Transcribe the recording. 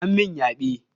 An min yaɓe.